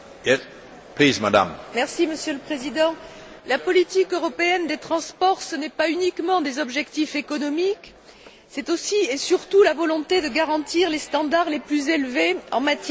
Monsieur le Président, la politique européenne des transports, ce ne sont pas uniquement des objectifs économiques, c'est aussi et surtout la volonté de garantir les standards les plus élevés en matière de sécurité des voyageurs.